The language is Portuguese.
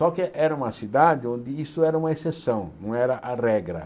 Só que era uma cidade onde isso era uma exceção, não era a regra.